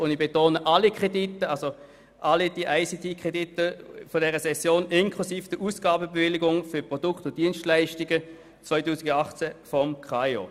Und ich betone, dies gilt für alle ICT-Kredite, die wir in dieser Session beraten, inklusive der Ausgabebewilligung für die Produkte und Dienstleistungen 2018 des KAIO.